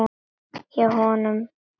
Hjá honum.